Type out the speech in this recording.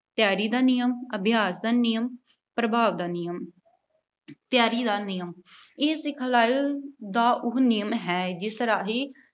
ਤਿਆਰੀ ਦਾ ਨਿਯਮ, ਅਭਿਆਸ ਦਾ ਨਿਯਮ, ਪ੍ਰਭਾਵ ਦਾ ਨਿਯਮ। ਤਿਆਰੀ ਦਾ ਨਿਯਮ, ਇਹ ਸਿਖਲਾਈ ਦਾ ਉਹ ਨਿਯਮ ਹੈ, ਜਿਸ ਰਾਹੀਂ